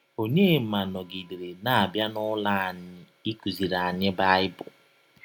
Ọnyema nọgidere na - abịa n’ụlọ anyị ịkụziri anyị Baịbụl.